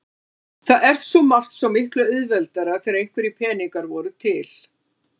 Það var svo margt svo miklu auðveldara þegar einhverjir peningar voru til.